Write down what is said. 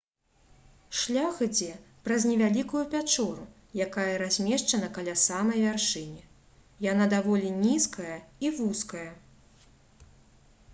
шлях ідзе праз невялікую пячору якая размешчана каля самай вяршыні яна даволі нізкая і вузкая